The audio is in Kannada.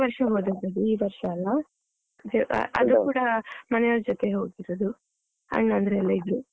ಕಳ್ದ ವರ್ಷ ಹೋದದ್ದು, ಈ ವರ್ಷ ಅಲ್ಲ ಅದು ಕೂಡ ಮನೆ ಅವ್ರ ಜೊತೆ ಹೋಗಿರೋದು, ಅಣ್ಣಂದ್ರು ಎಲ್ಲ ಇದ್ರು.